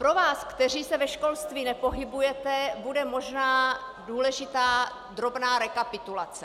Pro vás, kteří se ve školství nepohybujete, bude možná důležitá drobná rekapitulace.